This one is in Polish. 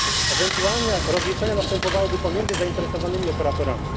Ewentualne rozliczenia następowałyby pomiędzy zainteresowanymi operatorami.